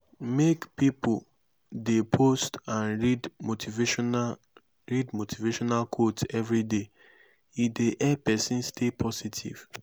make pipo de post and read motivational read motivational quotes everyday e dey help persin stay positive